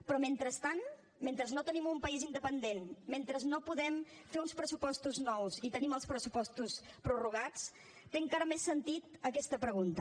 però mentrestant mentre no tenim un país independent mentre no podem fer uns pressupostos nous i tenim els pressupostos prorrogats té encara més sentit aquesta pregunta